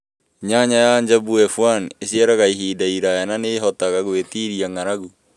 Nyanya ya Njambu F1 ĩciaraga ihinda iraya na nĩ ĩhotaga gwĩtiiria ng'aragu.